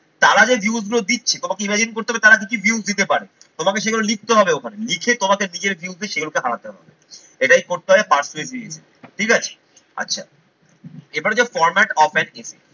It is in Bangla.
তাঁরা যে views গুলো দিচ্ছে তোমাকে imagine করতে হবে তাঁরা কি কি views দিতে পারে। তোমাকে সেগুলো লিখতে হবে ওখানে, লিখে তোমাকে নিজের বিরুদ্ধে সেগুলোকে হারাতে হবে, এটাই করতে হবে ঠিক আছে? আচ্ছা এবারে হচ্ছে format